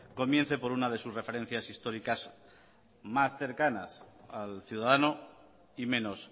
comience por una de sus referencias históricas más cercanas al ciudadano y menos